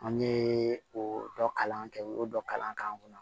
An ye o dɔ kalan kɛ u y'o dɔ kalan k'an kunna